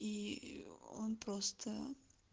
и он просто